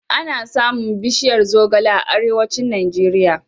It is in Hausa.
Ana samun bishiyar zogale a Arewacin Najeriya.